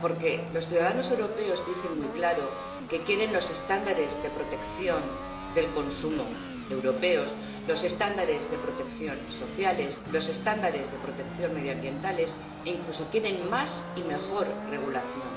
Porque los ciudadanos europeos dicen muy claro que quieren los estándares europeos de protección del consumo, los estándares de protección sociales, los estándares de protección medioambientales e, incluso, quieren más y mejor regulación.